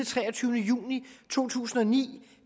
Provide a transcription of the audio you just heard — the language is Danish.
treogtyvende juni 2009